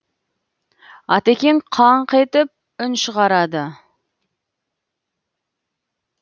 атекең қаңқ етіп үн шығарады